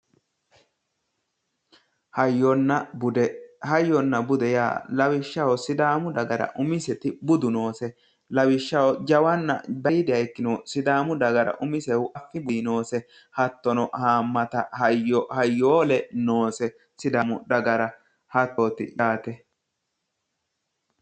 Hayyonna bude hayyona bude lawishshaho sidaamu dagara umiseti budu noose lawishshaho jawanna aliidiha ikkinohu sidaamu dagara umisehu affino noose hattono haamata hayyo hayoole noose sida mudha gara hatoo tidhaate